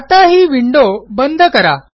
आता ही विंडो बंद करा